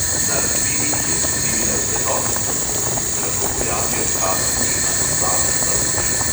Na rastlini, ki je prezimila v pretoplem prostoru, se lahko pojavijo kaparji ali vatasta uš.